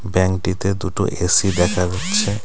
ব্যাঙ্কটিতে দুটো এ_সি দেখা যাচ্ছে .